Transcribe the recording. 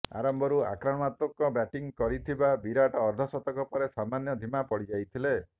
ଆରମ୍ଭରୁ ଆକ୍ରମଣାତ୍ମକ ବ୍ୟାଟିଂ କରିଥିବା ବିରାଟ୍ ଅର୍ଦ୍ଧଶତକ ପରେ ସାମାନ୍ୟ ଧିମା ପଡ଼ିଯାଇଥିଲେ